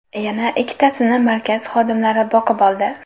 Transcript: Yana ikkitasini markaz xodimlari boqib oldi.